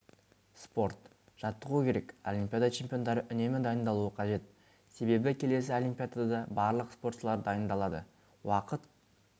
спорт жаттығу керек олимпиада чемпиондары үнемі дайындалуы қажет себебі келесі олимпиадада барлық спортшылар дайындалады уақыт